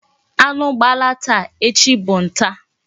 Anu gbala taa, echi bu ka bu nta